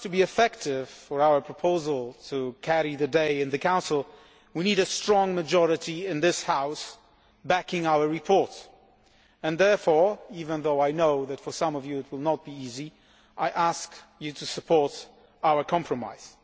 For us to be effective, for our proposal to carry the day in the Council, we need a strong majority in this House backing our report and, therefore, even though I know that for some of you it will not be easy, I ask you to support our compromise.